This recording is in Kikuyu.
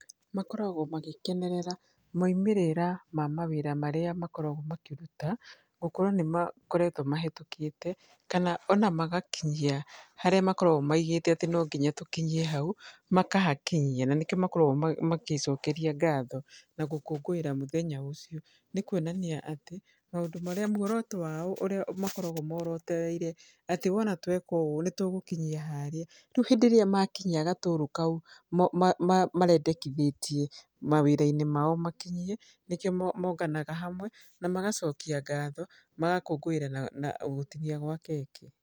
Makoragwo magĩkenerera moimĩrĩra ma mawĩra marĩa makoragwo makĩruta. Gũkorwo nĩ makoretwo mahetũkĩte, kana ona magakinyia harĩa makoragwo maigĩte atĩ no nginya tũkinyie hau, makahakinyia. Na nĩkĩo makoragwo magĩcokeria ngatho na gũkũngũĩra mũthenya ũcio. Nĩ kuonania atĩ maũndũ marĩa muoroto wao ũrĩa makoragwo morotereire, atĩ wona tweka ũũ, nĩ tũgũkinyia harĩa. Rĩu hĩndĩ ĩrĩa makinya gatũrũ kau marendekithĩtie mawĩra-inĩ mao makinyie, nĩkĩo monganaga hamwe, na magacokia ngatho magakũngũĩra na na gũtinia gwa keki.